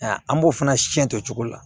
An b'o fana siɲɛ o cogo la